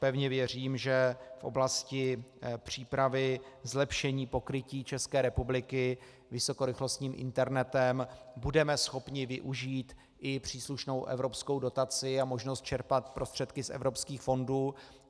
Pevně věřím, že v oblasti přípravy zlepšení pokrytí České republiky vysokorychlostním internetem budeme schopni využít i příslušnou evropskou dotaci a možnost čerpat prostředky z evropských fondů.